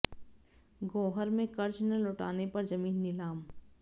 गोहर में कर्ज न लौटाने पर जमीन नीलाम